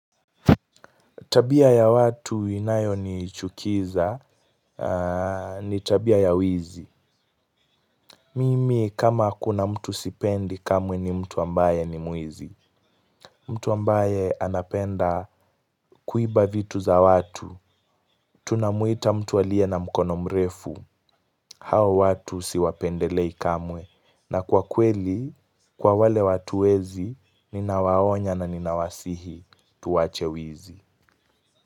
Tabia ya watu inayonichukiza ni tabia ya wizi. Mimi kama kuna mtu sipendi kamwe ni mtu ambaye ni mwizi. Mtu ambaye anapenda kuiba vitu za watu. Tunamuita mtu aliye na mkono mrefu. Hawa watu siwapendelei kamwe. Na kwa kweli, kwa wale watu wezi, ninawaonya na ninawasihi tuwache wizi.